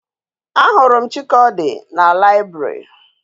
A huru m chikaodi na library